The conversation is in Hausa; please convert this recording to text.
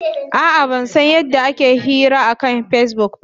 A'a, ban san yadda ake yin hira akan Facebook ba.